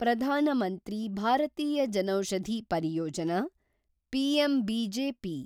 ಪ್ರಧಾನ ಮಂತ್ರಿ ಭಾರತೀಯ ಜನೌಷಧಿ ಪರಿಯೋಜನಾ’ (ಪಿಎಂಬಿಜೆಪಿ)